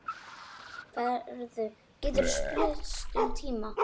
Færð getur spillst um tíma.